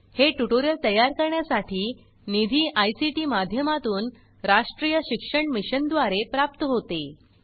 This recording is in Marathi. हे ट्यूटोरियल तयार करण्यासाठी निधी आयसीटी माध्यमातून राष्ट्रीय शिक्षण मिशन द्वारे प्राप्त होते